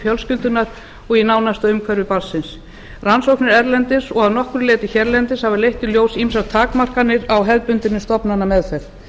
fjölskyldunnar og í nánasta umhverfi barnsins rannsóknir erlendis og að nokkru leyti hérlendis hafa leitt í ljós ýmsar takmarkanir á hefðbundinni stofnanameðferð